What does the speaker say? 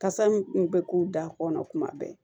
Kasa min kun bɛ k'u da kɔnɔ kuma bɛɛ